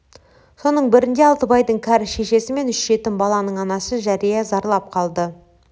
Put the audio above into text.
соның бірінде алтыбайдың кәрі шешесі мен үш жетім баланың анасы жәрия зарлап қалды